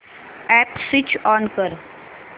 app switch on कर